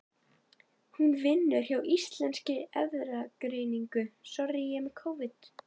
Hún vinnur hjá Íslenskri erfðagreiningu.